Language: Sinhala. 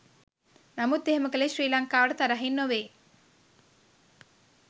නමුත් එහෙම කළේ ශ්‍රී ලංකාවට තරහින් නොවෙයි.